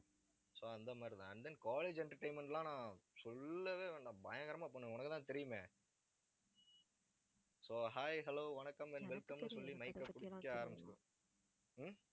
so அந்த மாதிரிதான். and then college entertainment லாம் சொல்லவே வேண்டாம் பயங்கரமா பண்ணுவேன் உனக்குத்தான் தெரியுமே. so hi hello வணக்கம் and welcome ன்னு சொல்லி mic அ புடிக்க ஆரம்பிச்சிடுவேன் ஹம்